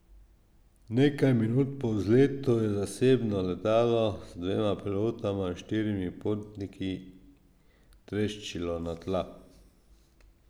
Nekaj minut po vzletu je zasebno letalo z dvema pilotoma in štirimi potniki treščilo na tla.